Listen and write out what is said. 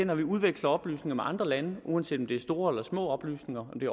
når vi udveksler oplysninger med andre lande uanset om det er store eller små oplysninger om det